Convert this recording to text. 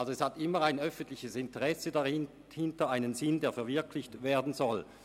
Es steht immer ein öffentliches Interesse oder ein Sinn dahinter, der verwirklicht werden soll.